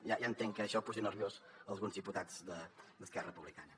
ja entenc que això posi nerviosos alguns diputats d’esquerra republicana